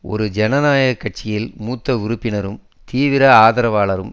ஒரு ஜனநாயக கட்சியின் மூத்த உறுப்பினரும் தீவிர ஆதரவாளரும்